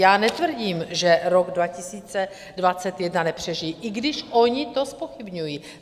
Já netvrdím, že rok 2021 (?) nepřežijí, i když oni to zpochybňují.